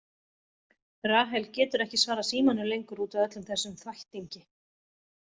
Rahel getur ekki svarað símanum lengur út af öllum þessum þvættingi.